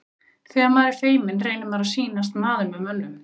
Þegar maður er feiminn reynir maður að sýnast maður með mönnum.